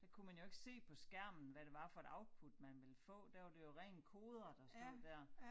Der kunne man jo ikke se på skræmen hvad det var for et output man ville få der var det jo ren kode der stod dér